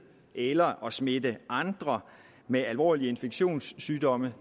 eller at smitte andre med alvorlige infektionssygdomme